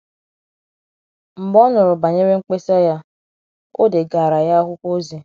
Mgbe ọ nụrụ banyere mkpesa ya, o degaara ya akwụkwọ ozi.